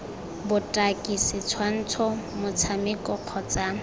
cd botaki setshwantsho motshameko kgotsa